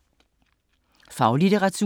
Faglitteratur